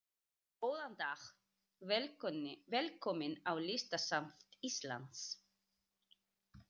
Góðan dag. Velkomin á Listasafn Íslands.